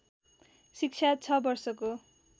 शिक्षा छ वर्षको